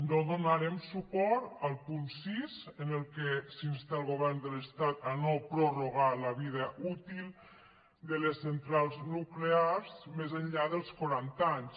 no donarem suport al punt sis en el qual s’insta el govern de l’estat a no prorrogar la vida útil de les centrals nuclears més enllà dels quaranta anys